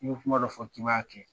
Ni ye kuma dɔ fɔ k'i b'a kɛ